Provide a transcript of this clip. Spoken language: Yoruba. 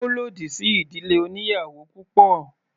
Ó lòdì sí ìdílé oníyàwò púpọ̀.